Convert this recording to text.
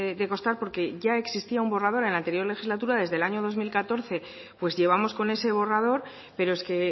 de costar porque ya existía un borrador en la anterior legislatura desde el año dos mil catorce pues llevamos con ese borrador pero es que